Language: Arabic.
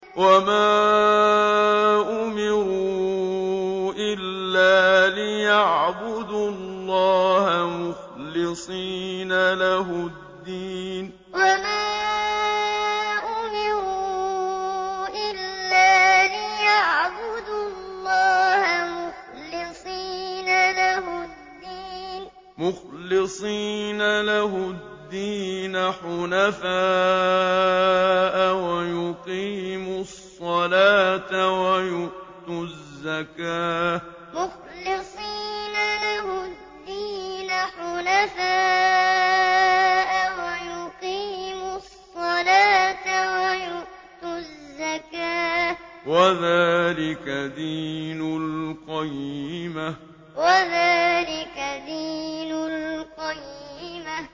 وَمَا أُمِرُوا إِلَّا لِيَعْبُدُوا اللَّهَ مُخْلِصِينَ لَهُ الدِّينَ حُنَفَاءَ وَيُقِيمُوا الصَّلَاةَ وَيُؤْتُوا الزَّكَاةَ ۚ وَذَٰلِكَ دِينُ الْقَيِّمَةِ وَمَا أُمِرُوا إِلَّا لِيَعْبُدُوا اللَّهَ مُخْلِصِينَ لَهُ الدِّينَ حُنَفَاءَ وَيُقِيمُوا الصَّلَاةَ وَيُؤْتُوا الزَّكَاةَ ۚ وَذَٰلِكَ دِينُ الْقَيِّمَةِ